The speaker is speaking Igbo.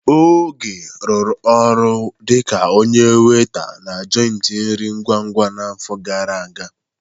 Oge rụrụ ọrụ dịka onye weta na joịtị nri ngwa-ngwa a n'afọ gara aga.